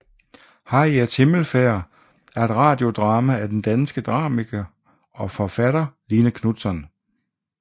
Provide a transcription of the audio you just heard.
Harriets himmelfærd er et radiodrama af den danske dramatiker og forfatter Line Knutzon